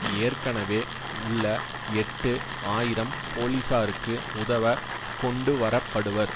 ஏற்கனவே உள்ள எட்டு ஆயிரம் போலீசாருக்கு உதவ கொண்டுவரப்படுவர்